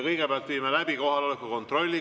Kõigepealt viime läbi kohaloleku kontrolli.